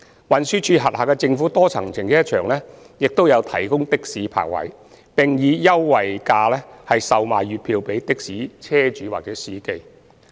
運輸署轄下的政府多層停車場亦有提供的士泊位，並以優惠價售賣月票予的士車主或司機。